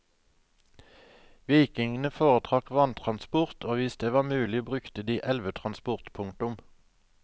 Vikingene foretrakk vanntransport og hvis det var mulig brukte de elvetransport. punktum